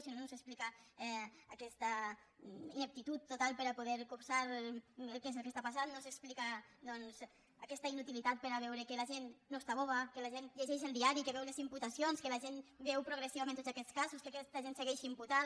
si no no s’explica aquesta ineptitud total per a poder copsar què és el que està passant no s’explica doncs aquesta inutilitat per a veure que la gent no està boba que la gent llegeix el diari que veu les imputacions que la gent veu progressivament tots aquests casos que aquesta gent segueix imputada